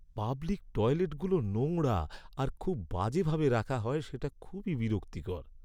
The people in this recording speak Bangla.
পাবলিক টয়লেটগুলো নোংরা আর খুব বাজে ভাবে রাখা হয় যেটা খুবই বিরক্তিকর!